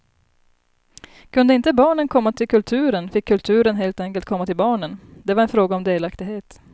Kunde inte barnen komma till kulturen fick kulturen helt enkelt komma till barnen, det var en fråga om delaktighet.